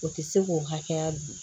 O tɛ se k'o hakɛya dun